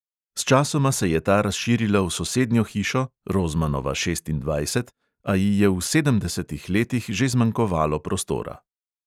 Sčasoma se je ta razširila v sosednjo hišo (rozmanova šestindvajset), a ji je v sedemdesetih letih že zmanjkovalo prostora.